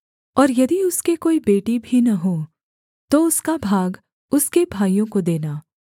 और यदि उसके कोई बेटी भी न हो तो उसका भाग उसके भाइयों को देना